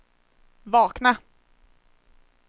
vakna